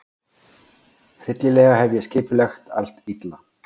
Hryllilega hef ég skipulagt allt illa.